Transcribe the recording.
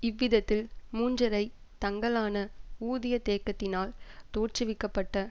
இவ்விதத்தில் மூன்றரை தங்களான ஊதிய தேக்கத்தினால் தோற்றுவிக்க பட்ட